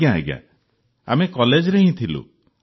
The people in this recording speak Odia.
ଆଜ୍ଞା ଆଜ୍ଞା ଆମେ କଲେଜରେ ହିଁ ଥିଲୁ